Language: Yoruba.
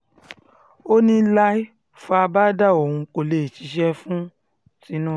ó ní láé fábàdà òun kó lè ṣiṣẹ́ fún tinubu